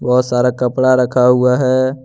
बहोत सारा कपड़ा रखा हुआ है।